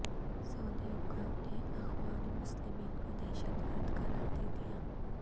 سعودی حکام نے اخوان المسلمین کو دہشتگرد قرار دے دیا